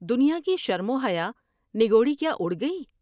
دنیا کی شرم و حیا نگوڑی کیا اڑ گئی ۔